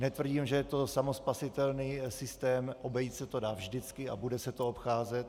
Netvrdím, že je to samospasitelný systém, obejít se to dá vždycky a bude se to obcházet.